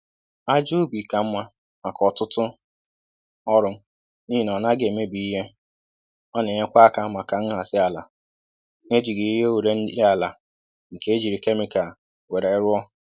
Ájá ubi ka mma maka ọtụtụ ọrụ n'ihi na ọ naghị emebi ihe, ọ na-enyekwa aka maka nhazi àlà n'ejighi ihe ure nri àlà nke e jírí kemịkal wéré rụọ